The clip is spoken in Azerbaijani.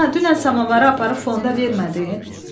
Ana, dünən samavarı aparıb fonda vermədin?